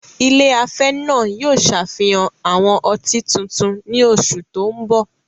Ilé afẹ́ náà yóò ṣe àfihàn àwọn ọtí tuntun ní oṣù tó ń bọ̀.